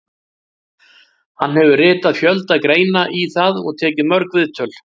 Hann hefur ritað fjölda greina í það og tekið mörg viðtöl.